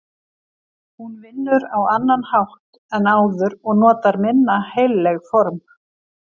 Hún vinnur á annan hátt en áður og notar minna heilleg form.